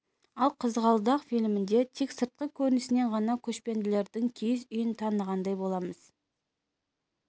ал қызғалдақ фильмінде тек сыртқы көрінісінен ғана көшпенділердің киіз үйін танығандай боламыз